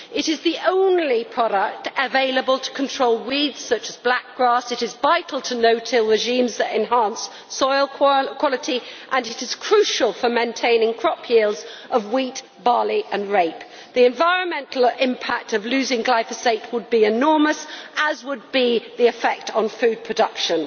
It is the only product available to control weeds such as black grass. It is vital to no till regimes that enhance soil quality and it is crucial for maintaining crop yields of wheat, barley and rape. The environmental impact of losing glyphosate would be enormous, as would be the effect on food production.